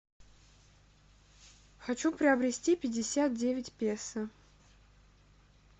хочу приобрести пятьдесят девять песо